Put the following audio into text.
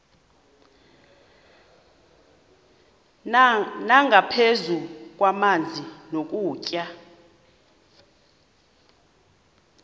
nangaphezu kwamanzi nokutya